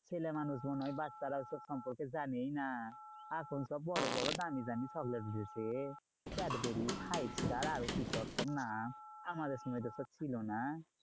ছেলে মানুষগুলো ওই বাচ্চারা ওই সব সম্পর্কে জানেই না। এখন সব বড়োবড়ো দামি দামি চকলেট উঠেছে ক্যাটবেরি, five star, আরো কি সব? সব নাম আমাদের সময় ওসব ছিল না।